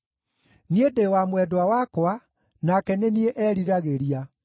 Niĩ ndĩ wa mwendwa wakwa, nake nĩ niĩ eriragĩria.